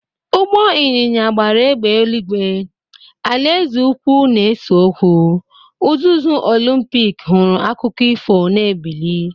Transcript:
Ụgbọ ịnyịnya gbara égbè eluigwe, alaeze ukwu na-ese okwu, uzuzu Olumpik hụrụ akụkọ ifo na-ebili.